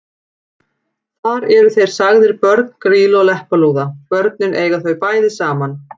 Þar eru þeir sagðir börn Grýlu og Leppalúða: Börnin eiga þau bæði saman